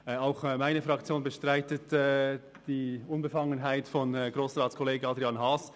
Auch meine Fraktion bestreitet die Unbefangenheit von Grossratskollege Adrian Haas.